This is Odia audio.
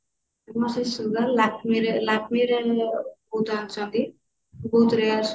ମୁଁ ସେଇ sugar Lakme ରେ Lakme ର ମୁଁ ବହୁତ ଆଣିଛନ୍ତି ବହୁତ rare sugar